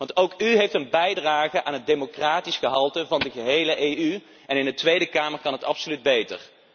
Want ook u heeft een bijdrage te leveren aan het democratisch gehalte van de gehele EU en in de Tweede Kamer kan het absoluut beter.